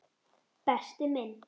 Berti minn.